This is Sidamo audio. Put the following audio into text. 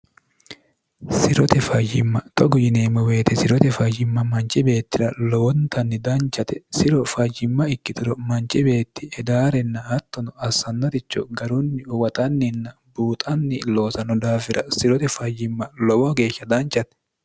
sirote fayyimma xogu yineemmo weyite sirote fayyimma manchi beettira lowontanni danchate siro fayyimma ikkitiro manchi beetti edaarenna attono assannaricho garunni uwaxanninna buuxanni loosano daafira sirote fayyimma lowo geeshsha danchate